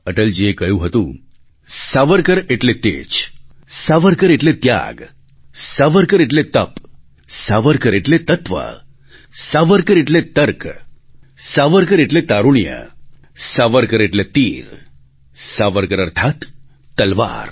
અટલજીએ કહ્યું હતું સાવરકર એટલે તેજ સાવરકર એટલે ત્યાગ સાવરકર એટલે તપ સાવરકર એટલે તત્ત્વ સાવરકર એટલે તર્ક સાવરકર એટલે તારુણ્ય સાવરકર એટલે તીર સાવરકર અર્થાત્ તલવાર